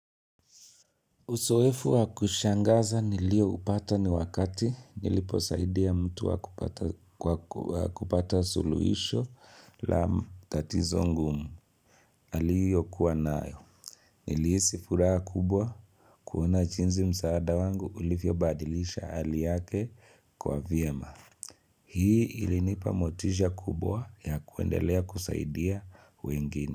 Uzoefu wa kushangaza nilio upata ni wakati niliposaidia mtu kwa kupata suluisho la tatizo ngumu. Aliyo kuwa nayo. Nilihisi furaha kubwa kuona jinzi msaada wangu ulivyo badilisha hali yake kuwa vyema. Hii ilinipa motisha kubwa ya kuendelea kusaidia wengine.